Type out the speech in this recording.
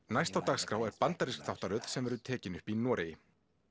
næst á dagskrá er bandarísk þáttaröð sem verður tekin upp í Noregi